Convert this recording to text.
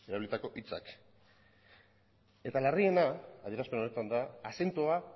erabilitako hitzak eta larriena adierazpen honetan da azentua